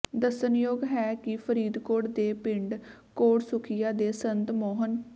ਦੱਸਣਯੋਗ ਹੈ ਕਿ ਫਰੀਦਕੋਟ ਦੇ ਪਿੰਡ ਕੋਟਸੁਖੀਆ ਦੇ ਸੰਤ ਮੋਹਨ